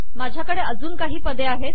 माझ्या कडे अजून काही पदे आहेत